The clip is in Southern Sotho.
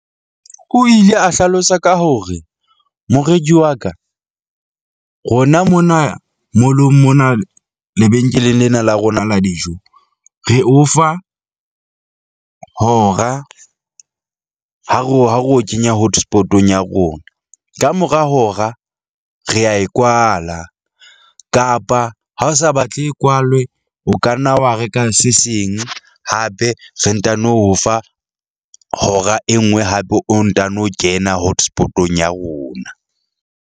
O ile a hlalosa ka hore, moreki wa ka rona mona mall-ong mona lebenkeleng lena la rona la dijo, re o fa hora ha ro ha ro o kenya hotspot-ong ya rona. Kamora hora re a e kwala kapa ha o sa batle e kwalwe. O ka nna wa reka se seng, hape re ntano o fa hora e nngwe hape o ntano kena hotspot-ong ya rona.